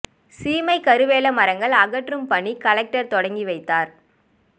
சீமைக் கருவேல மரங்கள் அகற்றும் பணி கலெக்டர் தொடக்கி வைத்தார்